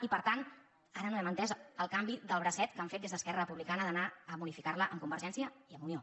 i per tant ara no hem entès el canvi de bracet que han fet des d’esquerra republicana d’anar a modi·ficar·la amb convergència i amb unió